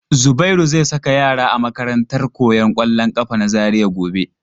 Zubairu zai saka yara a makarantar koyan kwallon kafa na Zaria gobe.